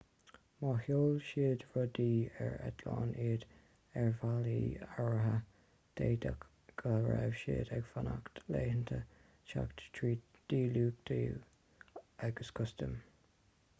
má sheol siad rudaí ar eitleán iad ar bhealaí áirithe d'fhéadfadh go raibh siad ag fanacht laethanta teacht tríd le díluchtú agus custaim